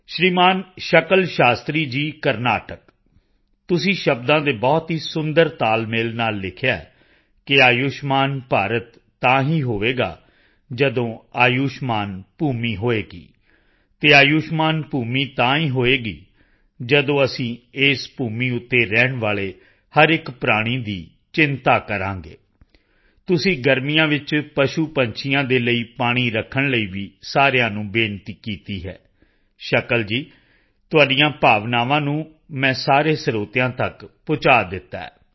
ਸ਼੍ਰੀਮਾਨ ਸ਼ਕਲ ਸ਼ਾਸਤਰੀ ਜੀ ਕਰਨਾਟਕ ਤੁਸੀਂ ਸ਼ਬਦਾਂ ਦੇ ਬਹੁਤ ਹੀ ਸੁੰਦਰ ਤਾਲਮੇਲ ਨਾਲ ਲਿਖਿਆ ਹੈ ਕਿ ਆਯੁਸ਼ਮਾਨ ਭਾਰਤ ਤਾਂ ਹੀ ਹੋਵੇਗਾ ਜਦੋਂ ਆਯੁਸ਼ਮਾਨ ਭੂਮੀ ਹੋਵੇਗੀ ਅਤੇ ਆਯੁਸ਼ਮਾਨ ਭੂਮੀ ਤਾਂ ਹੀ ਹੋਵੇਗੀ ਜਦੋਂ ਅਸੀਂ ਇਸ ਭੂਮੀ ਤੇ ਰਹਿਣ ਵਾਲੇ ਹਰ ਇੱਕ ਪ੍ਰਾਣੀ ਦੀ ਚਿੰਤਾ ਕਰਾਂਗੇ ਤੁਸੀਂ ਗਰਮੀਆਂ ਵਿੱਚ ਪਸ਼ੂਪੰਛੀਆਂ ਦੇ ਲਈ ਪਾਣੀ ਰੱਖਣ ਲਈ ਵੀ ਸਾਰਿਆਂ ਨੂੰ ਬੇਨਤੀ ਕੀਤੀ ਹੈ ਸ਼ਕਲ ਜੀ ਤੁਹਾਡੀਆਂ ਭਾਵਨਾਵਾਂ ਨੂੰ ਮੈਂ ਸਾਰੇ ਸਰੋਤਿਆਂ ਤੱਕ ਪਹੁੰਚਾ ਦਿੱਤਾ ਹੈ